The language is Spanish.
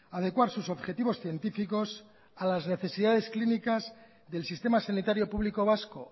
adecuar sus objetivos científicos a las necesidades clínicas del sistema sanitario público vasco